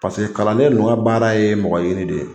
kalanden ninnu ka baara ye mɔgɔɲini de ye